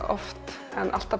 oft en alltaf